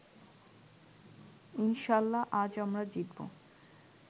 ইনশাল্লাহ আজ আমরা জিতবো